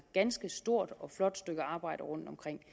ganske stort og flot stykke arbejde rundtomkring